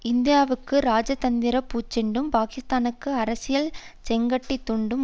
இந்தியாவுக்கு இராஜதந்திர பூச்செண்டும் பாகிஸ்தானுக்கு அரசியல் செங்கட்டித் துண்டும்